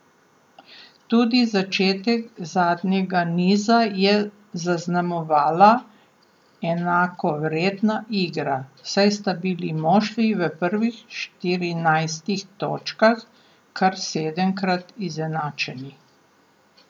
Tudi začetek zadnjega niza je zaznamovala enakovredna igra, saj sta bili moštvi v prvih štirinajstih točkah kar sedemkrat izenačeni.